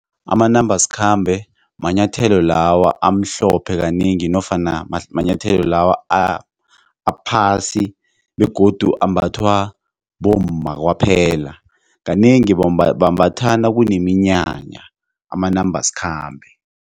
Amanambasikhambe manyathelo lawa amhlophe kanengi nofana manyathelo lawa aphasi begodu ambathwa bomma kwaphela kanengi bambatha nakuneminyanya amanambasikhambe.